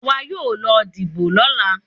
Àwa yóò lọ dìbò lọ́la.